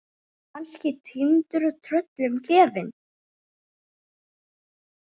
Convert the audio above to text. Kannski týndur og tröllum gefinn.